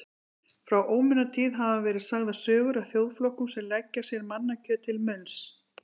Frá ómunatíð hafa verið sagðar sögur af þjóðflokkum sem leggja sér mannakjöt til munns.